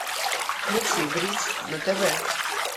включи бридж на тв